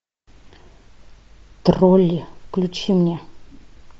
тролли включи мне